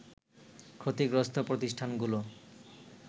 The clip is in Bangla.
ক্ষতিগ্রস্ত প্রতিষ্ঠানগুলো